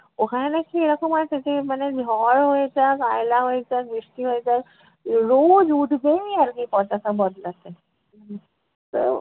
ওখানে নাকি এরকম আছে যে মানে ঝড় হয়ে যাক, আয়লা হয়ে যাক, বৃষ্টি হয়ে যাক উহ রোজ উঠবেই আর কী পতাকা বদলাতে। উহ তো